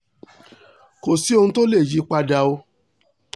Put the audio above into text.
kò sí ohun tó lè yí i padà o